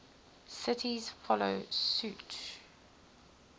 cities follow suit